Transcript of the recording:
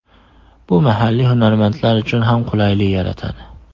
Bu mahalliy hunarmandlar uchun ham qulaylik yaratadi.